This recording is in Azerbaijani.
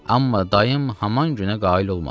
Amma dayım haman günə qail olmadı.